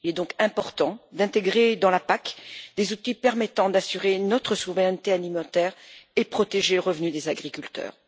Il est donc important d'intégrer dans la PAC des outils permettant d'assurer notre souveraineté alimentaire et de protéger le revenu des agriculteurs.